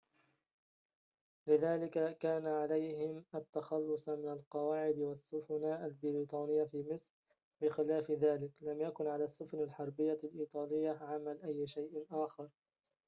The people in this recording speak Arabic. لذلك كان عليهم التخلّص من القواعد والسفن البريطانيّة في مصر بخلاف ذلك لم يكن على السفن الحربيّة الإيطالية عمل أي شيء آخر